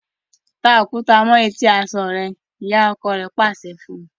Ta Òkúta mọ eti aṣọ rẹ! ìyá ọkọ rà pàṣẹ fún.